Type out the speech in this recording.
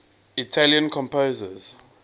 italian composers